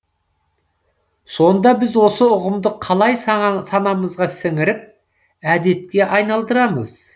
сонда біз осы ұғымды қалай санамызға сіңіріп әдетке айналдырамыз